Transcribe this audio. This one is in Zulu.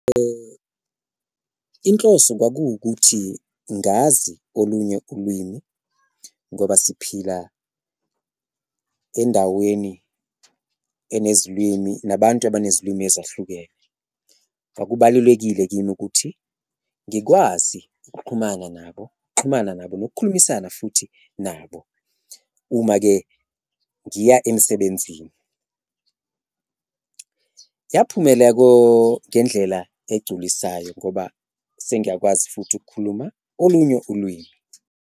Inhloso kwakuwukuthi ngazi olunye ulwimi ngoba siphila endaweni enezilwimi nabantu abanezilwimi ezahlukene, kwakubalulekile kini ukuthi ngikwazi nabo ukuxhumana nabo nokukhulumisana futhi nabo uma-ke ngiya emsebenzini. Yaphumela ngendlela egculisayo ngoba sengiyakwazi futhi ukukhuluma olunye ulwimi.